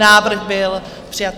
Návrh byl přijat.